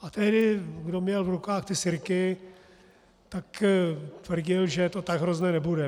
A tehdy kdo měl v rukách ty sirky, tak tvrdil, že to tak hrozné nebude.